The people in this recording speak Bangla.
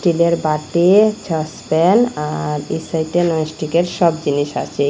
স্টিলের বাটি ছসপেন আর এই সাইটে ননস্টিকের সব জিনিস আচে এই--